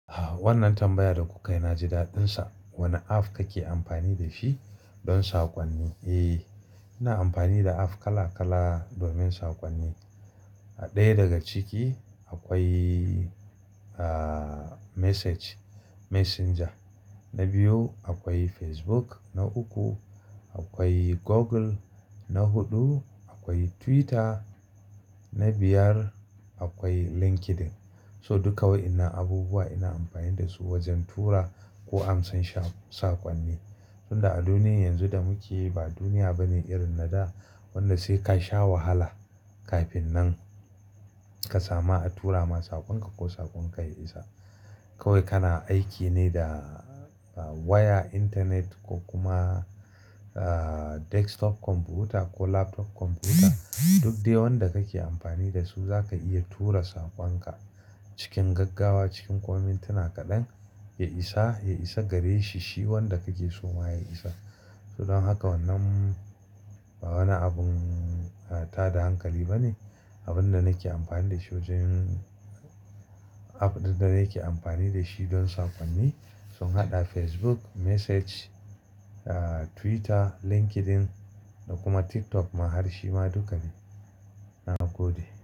Ah, wannan tambaya da kuka yi na ji daɗin sa. Wane app kake amfani da shi don saƙonni? Eh, ina amfani da app kala kala domin saƙonni. Ɗaya daga ciki akwai, ah, Message-- Messenger, na biyu akwai Facebook, na uku akwai Google, na huɗu akwai Twitter, na biyar akwai LinkedIn. So duka waƴannan abubuwa ina amfani da su wajen tura ko amsan sha-- saƙonni. Sanda a duniyar yanzu da muke yi ba duniya bane irin na da wanda sai ka sha wahala kafin nan ka samu a tura ma saƙonka ko saƙonka ya isa. Kawai kana aiki ne da waya, intanet ko kuma, ah, desktop kwamfuta ko laptop kwamfuta. Duk dai wanda kake amfani da su zaka iya tura saƙonka cikin gaggawa, cikin kuma mintuna kaɗan. Ya isa, ya isa gare shi, shi wanda kake so ma ya isa. Don haka wannan ba wani abun, ah, tada hankali bane. Abin da nake amfani da shi wajen app ɗin da nake amfani da shi don saƙonni sun haɗa Facebook, Message, ah, Twitter, LinkedIn da kuma TikTok ma har shi ma duka ne. Na gode.